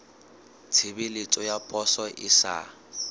tshebeletso ya poso e sa